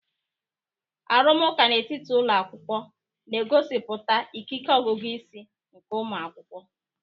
Arụmụka n'etiti ụlọ akwụkwọ na-egosipụta ikike ọgụgụ isi nke ụmụ akwụkwọ.